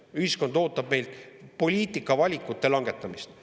Ühiskond ootab meilt poliitikavalikute langetamist.